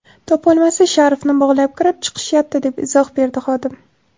Topolmasa, sharfni bog‘lab kirib chiqishyapti”, deb izoh berdi xodim.